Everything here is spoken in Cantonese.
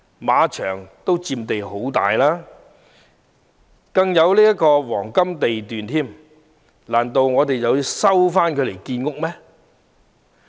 馬場亦佔地甚廣，更位處黃金地段，難道我們又要將其收回建屋嗎？